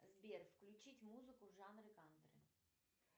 сбер включить музыку в жанре кантри